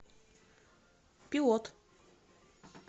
пилот